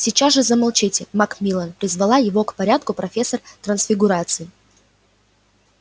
сейчас же замолчите макмиллан призвала его к порядку профессор трансфигурации